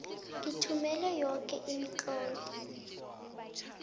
ngithumele yoke imitlolo